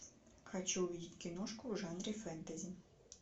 хочу увидеть киношку в жанре фэнтези